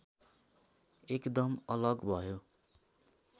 एकदम अलग भयो